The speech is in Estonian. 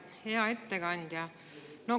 Hea ettekandja!